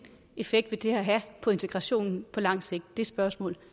effekt vil det her have på integrationen på lang sigt det spørgsmål